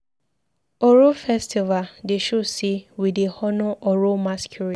Oro festival dey show sey we dey honour oro masqurade.